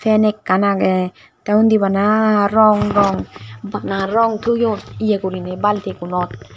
fan ekkan aage te undi bana rong rong bana rong toyoun ye gorine balti gunot.